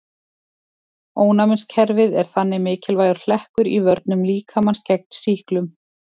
Ónæmiskerfið er þannig mikilvægur hlekkur í vörnum líkamans gegn sýklum.